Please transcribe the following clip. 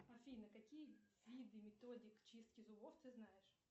афина какие виды методик чистки зубов ты знаешь